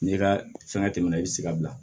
N'i ka fɛnkɛ tɛmɛna i be se ka bila